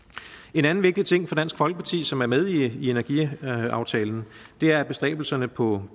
en anden vigtig ting for dansk folkeparti som er med i energiaftalen er bestræbelserne på